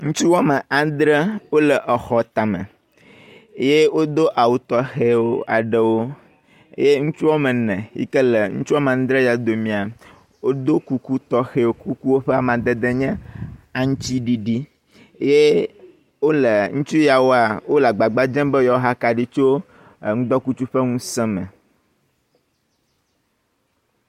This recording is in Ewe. ŋutsu woame aŋdre wóle exɔ tame wodó awu tɔxɛwo ye ŋutsu ɔmene yike le wɔme aŋdre ya domia ɖó kuku tɔxɛwo, kuku yawo ƒe amadede nye aŋtsiɖiɖi ye ŋutsu yawoa wóle agbagba dzem be yewoa he akaɖi tso ŋudɔkutsu ƒe ŋusē me